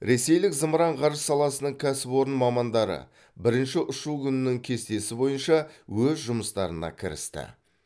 ресейлік зымыран ғарыш саласының кәсіпорын мамандары бірінші ұшу күнінің кестесі бойынша өз жұмыстарына кірісті